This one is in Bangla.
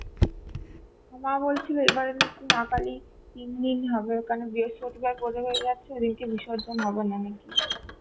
মা বলছিলো এবারে নাকি মা কালী তিন দিন হবে কারণ বৃহস্পতিবার পরে যাচ্ছে সেদিনকে বিসর্জন হবে নাকি